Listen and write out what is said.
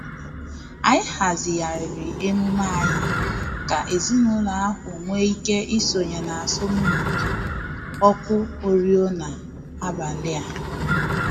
Anyị hazigharịrị emume anyị ka ezinụlọ ahụ nwee ike isonye n'asọmpi ọkụ oriọna abalị a